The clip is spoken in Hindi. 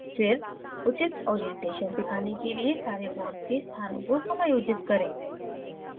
फिर उचित orientation अभिविन्यास दिखाने के लिए सारे bonds के स्थानों को समायोजित करें